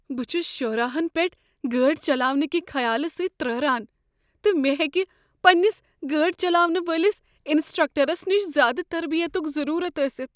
بہٕ چھس شاہراہن پیٹھ گٲڑۍ چلاونٕکہِ خیال سۭتۍ ترٛہران، تہٕ مےٚ ہیٚکہ پننس گٲڑۍ چلاونہٕ وٲلس انسٹرکٹرس نش زیٛادٕ تربیتک ضروٗرت ٲستھ۔